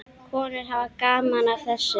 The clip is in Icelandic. Konur hafa gaman af þessu.